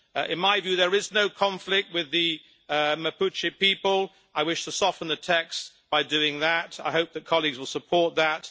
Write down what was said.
In my view, there is no conflict with the Mapuche people. I wish to soften the text by doing that. I hope that colleagues will support that.